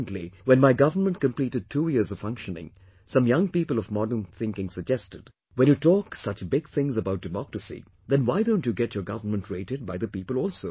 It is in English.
Recently, when my government completed two years of functioning, some young people of modern thinking suggested, "When you talk such big things about democracy, then why don't you get your government rated by the people also